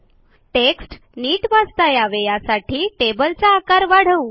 text नीट वाचता यावे यासाठी टेबलचा आकार वाढवू